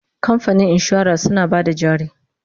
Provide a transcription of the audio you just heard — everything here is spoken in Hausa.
kamfanin insura suna Bada jari